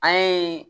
An ye